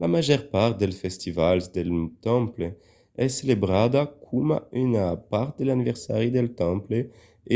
la màger part dels festivals del temple es celebrada coma una part de l'anniversari del temple